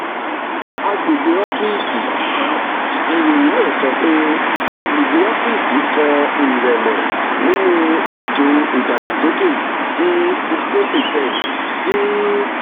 agbegbe ọfiisi: ìròyìn náà sọ pé agbegbe ọfiisi kọ ìrẹ́lẹ̀ nínú ètò ìdàgbàsókè sí sixteen percent ti